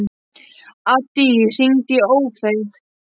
Addý, hringdu í Ófeig.